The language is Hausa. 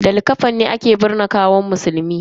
Da likafani ake binne gawan musulmi.